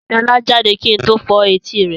Sọlá jáde kí n tó fọ́ etí rẹ̀.